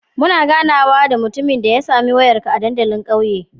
Muna ganawa da mutumin da ya sami wayarka a dandalin ƙauye